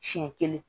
Siɲɛ kelen